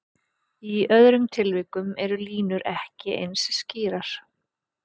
Í öðrum tilvikum eru línur ekki eins skýrar.